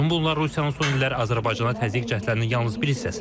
Bütün bunlar Rusiyanın son illər Azərbaycana təzyiq cəhdlərinin yalnız bir hissəsidir.